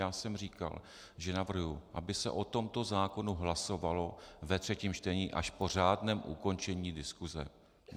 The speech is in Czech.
Já jsem říkal, že navrhuji, aby se o tomto zákonu hlasovalo ve třetím čtení až po řádném ukončení diskuse.